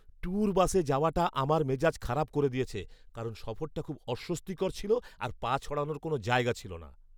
Tour বাসে যাওয়াটা আমার মেজাজ খারাপ করে দিয়েছে, কারণ সফরটা খুব অস্বস্তিকর ছিল আর পা ছড়ানোর কোনও জায়গা ছিল না।